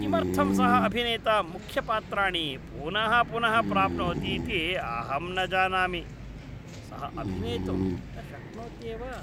किमर्थं सः अभिनेता मुख्यपात्राणि पुनः पुनः प्राप्नोतीति अहं न जानामि। सः अभिनेतुं न शक्नोत्येव।